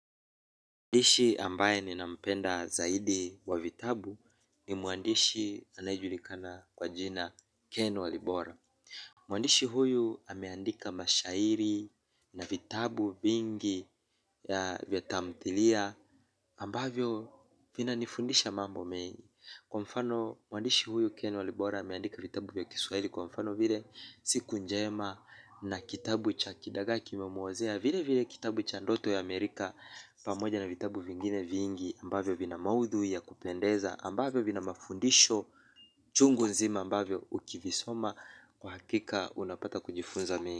Muandishi ambaye ninampenda zaidi wa vitabu ni muandishi anaejulikana kwa jina Ken Walibora. Muandishi huyu ameandika mashairi na vitabu vingi vya tamthilia ambavyo vina nifundisha mambo mengi. Kwa mfano muandishi huyu Ken Walibora ameandika vitabu vya kiswaili. Kwa mfano vile siku njema na kitabu cha kidagaa kimemuozea. Vile vile kitabu cha ndoto ya Amerika Pamoja na vitabu vingine viingi ambavyo vina maudhui ya kupendeza ambavyo vina mafundisho chungu nzima ambavyo ukivisoma kwa hakika unapata kujifunza mengi.